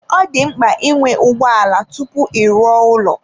Ọ dị mkpa ịnwe ụgbọ ala tupu ị rụọ ụlọ.